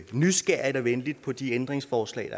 nysgerrigt og venligt på de ændringsforslag